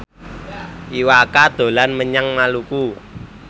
Iwa K dolan menyang Maluku